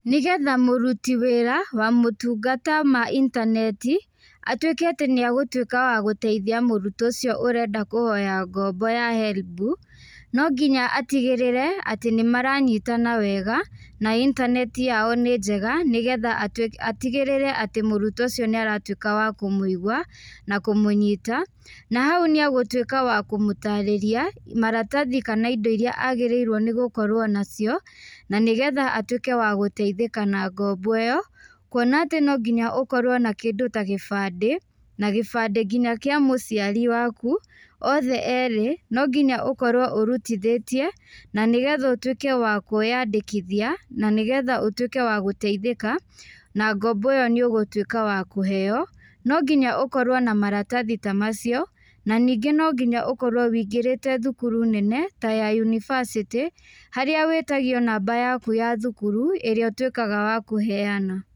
Nĩgetha mũrutĩ wĩra wa motungata ma intaneti, atũĩke atĩ nĩagũtuĩka wa gũteithia mũrutwo ũcĩo ũrenda kũhoya ngombo ya Helb, no ngĩnya atigĩrĩre atĩ nĩmaranyitana wega na intaneti yao nĩ njega nĩgetha atĩgĩrĩre atĩ mũrutwo ũcĩo nĩaratuĩka wa kũmũĩgua na kũmũnyita na hau nĩagũtuĩka wa kũmutarĩrĩa maratathĩ kana ĩndo ĩrĩa agĩrĩirwo nĩ gũkorwo nacĩo na nĩgetha atũĩke wa gũteĩthika na ngombo ĩyo. kũona atĩ no ngĩnya ũkorwo na kĩndũ ta gĩbandĩ na gĩbandĩ ngĩnya kĩa mũcĩari wakũ othe erĩ. No ngĩnya ũkorwo ũrũtĩthethie, na nĩgetha ũtuĩke wa kwiyandĩkĩthia na nĩgetha ũtũĩke wa gũteĩthika na ngombo ĩyo nĩ ũgũtũika wa kũheo. No ngĩnya ũkorwo na maratathĩ ta macĩo na nĩngĩ ũkorwo wĩingĩrĩte thukuru nene ta ya university harĩa wĩtagĩo namba yakũ ya thũkuru ĩrĩa ũtuĩkaga wa kũheana.